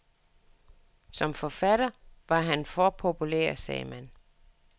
Som forfatter var han for populær, sagde man.